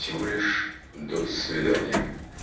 всего лишь до свидания